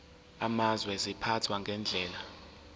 amazwe ziphathwa ngendlela